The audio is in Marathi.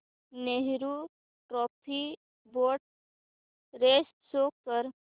Nehru trophy boat race show कर